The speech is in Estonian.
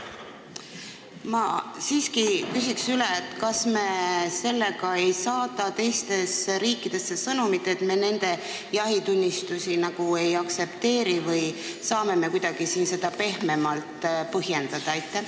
Ma siiski küsin üle: kas me sellega ei saada teistesse riikidesse sõnumit, et me nende jahitunnistusi nagu ei aktsepteeri, või saame me seda kuidagi pehmemalt põhjendada?